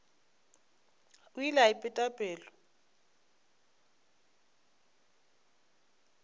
o ile a ipeta pelo